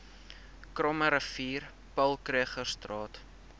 krommerivier paul krugerstraat